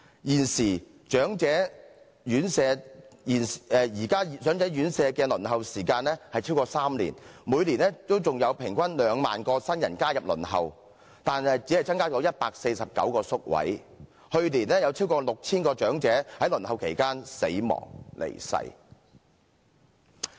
現時長者院舍的輪候時間超過3年，每年還有平均2萬名新人加入輪候，但只增加149個宿位，去年有超過 6,000 名長者在輪候期間離世。